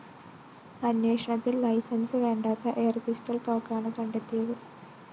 അന്വേഷണത്തില്‍ ലൈസൻസ്‌ വേണ്ടാത്ത എയര്‍പിസ്റ്റള്‍ തോക്കാണ് കണ്ടെത്തിയത്